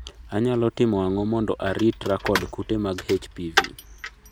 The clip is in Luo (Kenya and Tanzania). anyalo timo ang'o mondo arit ra kod kute mag HPV